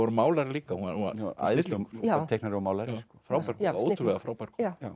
málari líka hún var æðislegur teiknari og málari ótrúlega frábær